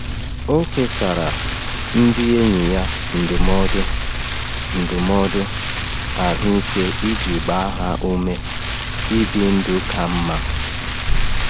Ọ kesara ndị enyi ya ndụmọdụ ndụmọdụ ahụike iji gbaa ha ume ibi ndụ ka mma.